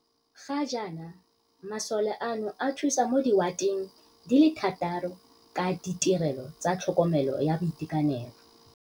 Ga jaana masole ano a thusa mo diwa teng di le thataro ka ditirelo tsa tlhokomelo ya boitekanelo.